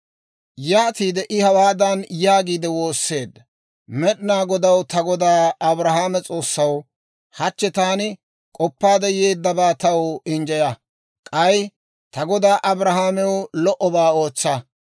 Yaatiide I hawaadan yaagiide woosseedda; «Med'inaa Godaw, ta godaa Abrahaame S'oossaw, hachche taani k'oppaade yeeddabaa taw injjeya; k'ay ta godaa Abrahaamew lo"obaa ootsa.